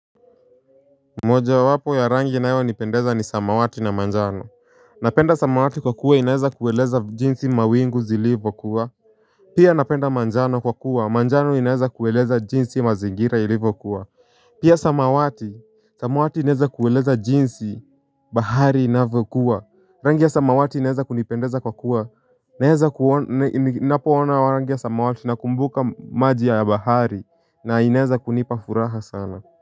Moja wapo ya rangi inayonipendeza ni samawati na manjano. Napenda samawati kwa kuwa inaeza kueleza jinsi mawingu zilivo kuwa pia napenda manjano kwa kuwa manjano inaeza kueleza jinsi mazingira ilivo kuwa pia samawati samawati inaeza kueleza jinsi bahari inavyokuwa. Rangi ya samawati inaeza kunipendeza kwa kuwa inaeza kuona rangi ya samawati na kumbuka maji ya bahari na inaeza kunipa furaha sana.